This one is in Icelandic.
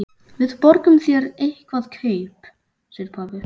Við borgum þér eitthvert kaup, segir pabbi.